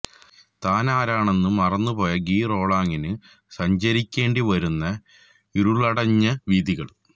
താനാരാണെന്ന് മറന്നുപോയ ഗി റോളാങ്ങിന് സഞ്ചരിക്കേണ്ടി വരുന്ന ഇരുളടഞ്ഞ വീഥികൾ